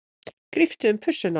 Gríptu um pussuna á þeim.